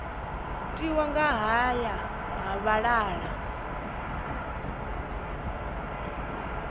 tiwa nga haya ha vhalala